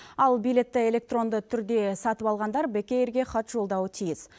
ал билетті электронды түрде сатып алғандар бек эйрге хат жолдауы тиіс